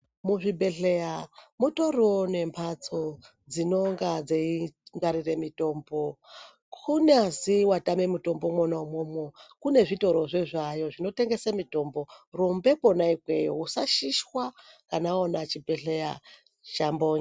Muzvibhedhleya, mutoriwo nemphatso dzinonga dzeingwarire mitombo. Kunyazi watame mitombo, mwona umwomwo, kune zvitorozve zvinotengese mitombo, rumbe kwona ikweyo. Usashishwa, kana waona chibhedhleya chambonywa.